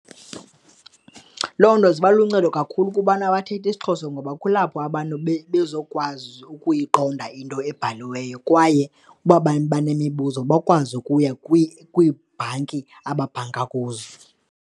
Loo nto ziba luncedo kakhulu kubantu abathetha isiXhosa ngoba kulapho abantu bezokwazi ukuyiqonda into ebhaliweyo kwaye uba benemibuzo bakwazi ukuya kwiibhanki ababhanka kuzo.